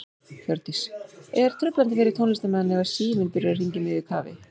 Hjördís: Er truflandi fyrir tónlistarmenn ef að síminn byrjar að hringja í miðju kafi?